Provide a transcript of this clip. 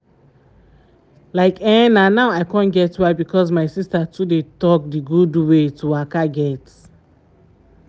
like eh na now i con get why because my sister too dey talk d gud wey to waka get.